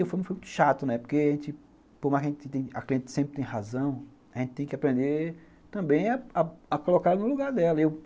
E foi muito chato, porque por mais que a cliente sempre tenha razão, a gente tem que aprender também a a colocar no lugar dela.